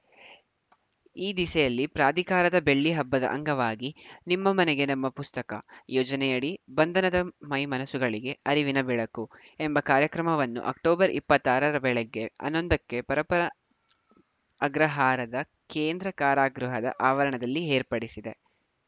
ಈ ದಿಸೆಯಲ್ಲಿ ಪ್ರಾಧಿಕಾರದ ಬೆಳ್ಳಿ ಹಬ್ಬದ ಅಂಗವಾಗಿ ನಿಮ್ಮ ಮನೆಗೆ ನಮ್ಮ ಪುಸ್ತಕ ಯೋಜನೆಯಡಿ ಬಂಧನದ ಮೈಮನಸ್ಸುಗಳಿಗೆ ಅರಿವಿನ ಬೆಳಕು ಎಂಬ ಕಾರ್ಯಕ್ರಮವನ್ನು ಅಕ್ಟೋಬರ್ ಇಪ್ಪತ್ತ್ ಆರರ ಬೆಳಗ್ಗೆ ಹನ್ನೊಂದಕ್ಕೆ ಪರಪ್ಪನ ಅಗ್ರಹಾರದ ಕೇಂದ್ರ ಕಾರಾಗೃಹದ ಆವರಣದಲ್ಲಿ ಏರ್ಪಡಿಸಿದೆ